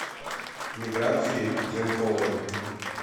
миграции зенковой